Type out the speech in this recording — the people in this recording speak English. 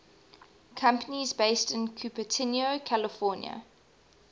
companies based in cupertino california